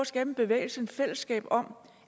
skabe en bevægelse et fællesskab om